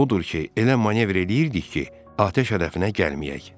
Odur ki, elə manevr eləyirdik ki, atəş hədəfinə gəlməyək.